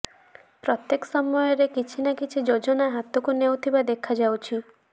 ପ୍ରତ୍ୟେକ ସମୟରେ କିଛି ନି କିଛି ଯୋଜନା ହାତକୁ ନେଉଥିବା ଦେଖାଯାଉଛି